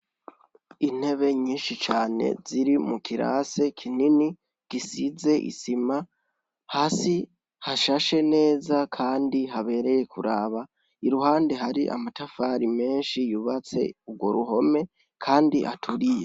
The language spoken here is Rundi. Intebe nyinshi cane ziri mu kirasi kinini gisize isima ,hasi hashashe neza Kandi habereye kuraba iruhande hari amatafari menshi yubatse urwo ruhome Kandi aturiye.